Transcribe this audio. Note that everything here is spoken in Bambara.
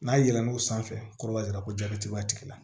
N'a yɛlɛn n'o sanfɛ kɔrɔ ka yira ko jati b'a tigi la